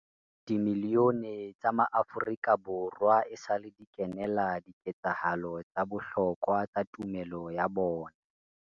Dimilione tsa maAfrika Borwa esale di kenela di ketsahalo tsa bohlokwa tsa tumelo ya bona.